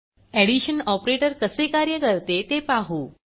addition operator कसे कार्य करते ते पाहू